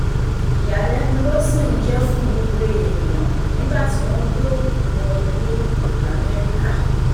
ìyàlẹ́nu ló sì ń jẹ́ fún gbogbo èèyàn nígbà tí wọ́n gbọ́ pé òkú wọlé ibo lamẹ́ríkà